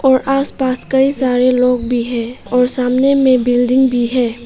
और आसपास कई सारे लोग भी है और सामने में बिल्डिंग भी है।